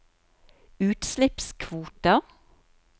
utslippskvoter